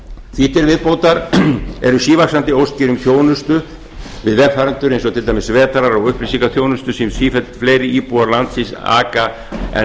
því til viðbótar eru sívaxandi óskir um þjónustu við vegfarendur eins og til dæmis vetrar og upplýsingaþjónustu sem sífellt fleiri íbúar landsins aka en